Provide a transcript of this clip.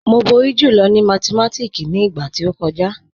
Mo bọ̀rí jùlọ̀ ni mátìmátíkì ni igba tó kọja.